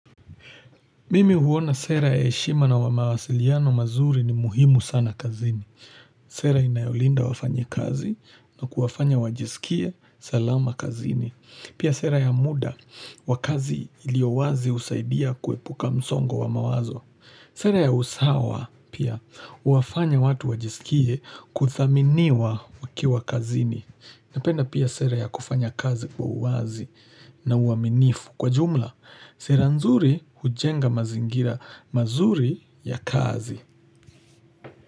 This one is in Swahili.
Mimi huona sera ya heshima na wamawasiliano mazuri ni muhimu sana kazini. Sera inayolinda wafanyi kazi na kuwafanya wajisikie salama kazini. Pia sera ya muda, wakazi iliowazi usaidia kuepuka msongo wamawazo. Sera ya usawa, pia, huwafanya watu wajisikie kuthaminiwa wakiwa kazini. Napenda pia sera ya kufanya kazi kwa uwazi na uaminifu. Kwa jumla, sera nzuri hujenga mazingira mazuri ya kazi.